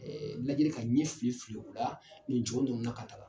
Lajɛli ka ɲɛ fili fili o la, nin jɔ ninnu ka taga